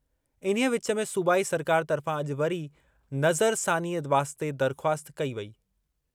इन्हीअ विच में, सूबाई सरकार तर्फ़ां अॼु वरी नज़रसानीअ वास्ते दरख़्वास्त कई वेई।